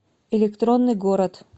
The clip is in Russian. электронный город